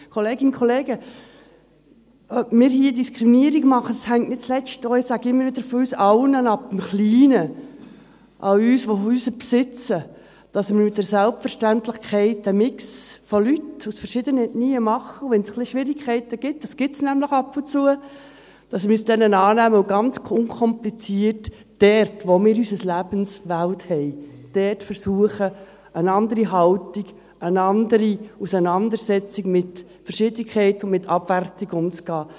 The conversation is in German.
Kolleginnen und Kollegen, ob wir hier Diskriminierung machen, hängt – ich sage es immer wieder – von uns allen ab, im Kleinen, von uns, die Häuser besitzen: dass wir mit einer Selbstverständlichkeit einen Mix von Leuten aus verschiedenen Ethnien machen, und wenn es ein wenig Schwierigkeiten gibt – diese gibt es nämlich ab und zu –, dass wir uns denen annehmen und ganz unkompliziert, dort, wo wir unsere Lebenswelt haben, versuchen, eine andere Haltung, anders mit Verschiedenheit und Abwertung umzugehen.